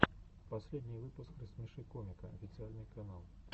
последний выпуск рассмеши комика официальный канал